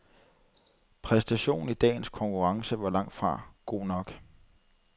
Præstationen i dagens konkurrence var langtfra god nok.